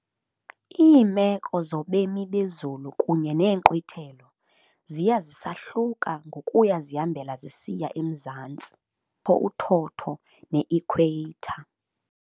Iimeko zobeme bezulu kunye neenkqwithelo ziya zisahluka ngokuya zihambela zisiya emzantsi, apho kukho uthotho ne-equator.